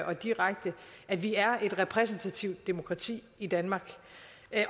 og direkte at vi er et repræsentativt demokrati i danmark